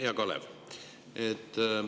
Hea Kalev!